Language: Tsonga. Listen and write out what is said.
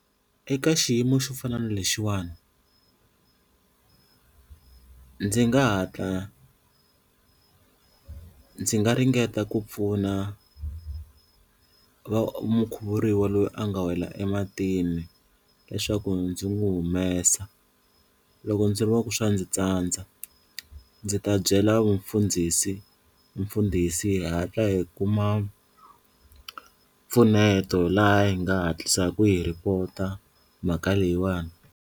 Eka xiyimo xo fana na lexiwani ndzi nga hatla ndzi nga ringeta ku pfuna va mukhuvuriwa loyi a nga wela ematini leswaku ndzi n'wi humesa loko ndzi vona ku swa ndzi tsandza ndzi ta byela mfundhisi mfundhisi hi hatla hi kuma mpfuneto laha hi nga hatlisaku hi report-a mhaka leyiwani.